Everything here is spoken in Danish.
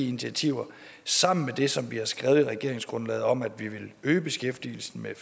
initiativerne sammen med det som vi har skrevet i regeringsgrundlaget om at vi vil øge beskæftigelsen med